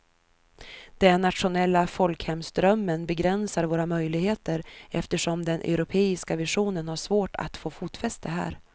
Den nationella folkhemsdrömmen begränsar våra möjligheter eftersom den europeiska visionen har svårt att få fotfäste här.